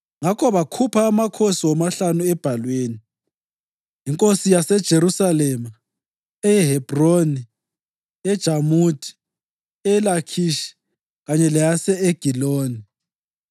Ngakho bakhupha amakhosi womahlanu ebhalwini, inkosi yaseJerusalema, eyeHebhroni, yeJamuthi, eyeLakhishi kanye leyase-Egiloni.